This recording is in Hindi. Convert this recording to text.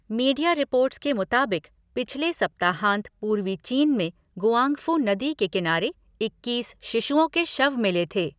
मीडिया रिपोर्ट्स के मुताबिक, पिछले सप्ताहांत पूर्वी चीन में गुआंगफू नदी के किनारे इक्कीस शिशुओं के शव मिले थे।